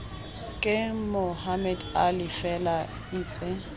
ke mohammed ali fela itse